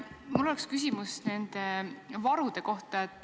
Mul on küsimus nende varude kohta.